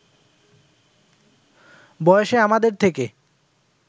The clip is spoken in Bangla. বয়সে আমাদের থেকে